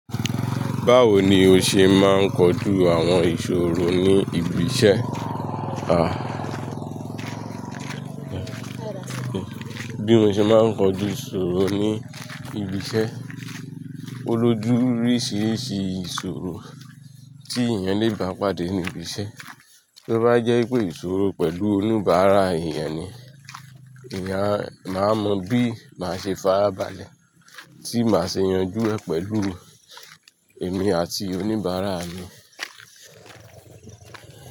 Báwo ni o ṣe máa ń kojú àwọn ìṣòro ní ibi iṣẹ́? Bi mo ṣe máa ń kojú ìṣòro ní ibi iṣẹ́? O ló jú oríṣìíríṣìí ìṣòro tí èèyàn le ba pàdé ní ibi iṣẹ́. Bí ó bá jẹ́ pé ìṣòro pẹ̀lú oníbàárà èèyàn ni, máa mọ bí máa ṣe farabalẹ̀ tí máa ṣe yanjú ẹ pẹ̀lú emí àti oníbàárà mi.